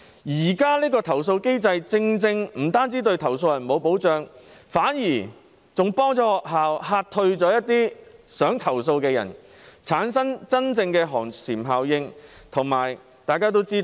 現行投訴機制不但對投訴人沒有保障，反而更幫助學校嚇退了一些想投訴的人，產生真正的寒蟬效應。